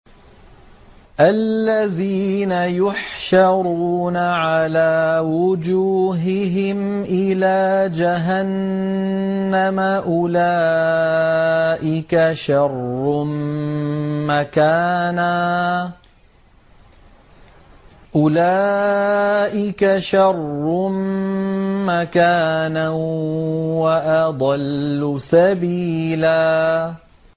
الَّذِينَ يُحْشَرُونَ عَلَىٰ وُجُوهِهِمْ إِلَىٰ جَهَنَّمَ أُولَٰئِكَ شَرٌّ مَّكَانًا وَأَضَلُّ سَبِيلًا